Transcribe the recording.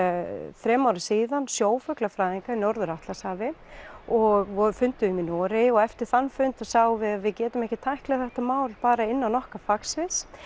þremur árum síðan sjófuglafræðinga í Norður Atlantshafi og funduðum við í Noregi eftir þann fund sáum við að við getum ekki tæklað þetta mál bara innan okkar fagsviðs